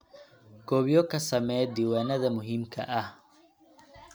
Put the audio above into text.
Koobiyo ka samee diiwaanada muhiimka ah.